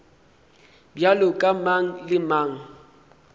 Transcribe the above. bjalo ka mang le mang